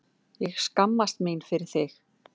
Ég skammast mín fyrir þig.